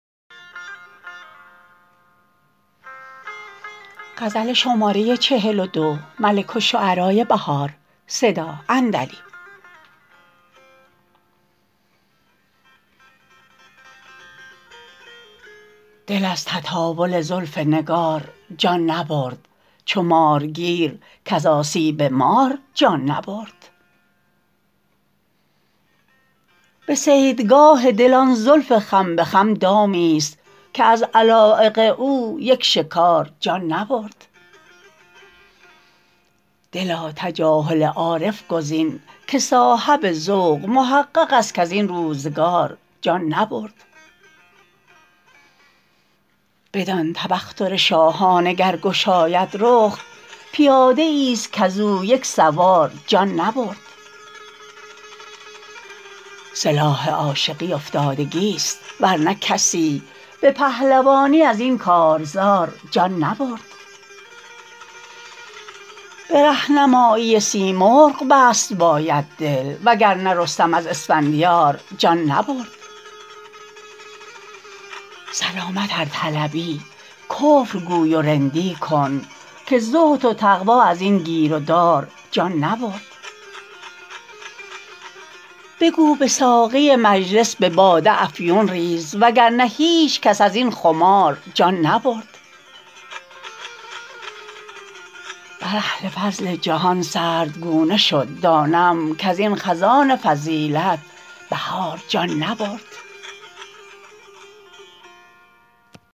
دل از تطاول زلف نگار جان نبرد چو مارگیر کز آسیب مار جان نبرد به صیدگاه دل آن زلف خم به خم دامیست که از علایق او یک شکار جان نبرد دلا تجاهل عارف گزین که صاحب ذوق محقق است کزین روزگار جان نبرد بدان تبختر شاهانه گرگشاید رخ پیاده ایست کز او یک سوار جان نبرد سلاح عاشقی افتادگیست ورنه کسی به پهلوانی ازین کار زار جان نبرد به رهنمایی سیمرغ بست باید دل وگرنه رستم از اسفندیار جان نبرد سلامت ارطلبی کفرگوی و رندی کن که زهد و تقوی از این گیرودار جان نبرد بگو به ساقی مجلس به باده افیون ریز وگرنه هیچ کس از این خمار جان نبرد بر اهل فضل جهان سردگونه شد دانم کزین خزان فضیلت بهار جان نبرد